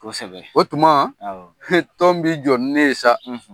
Kosɛbɛ, o tumana , tɔn bɛ jɔ ni ne ye sa.